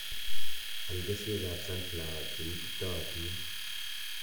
Al keswekab sunflower che ititootin